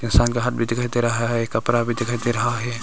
किसान का हाथ भी दिखाई दे रहा है कपड़ा भी दिखाई दे रहा है।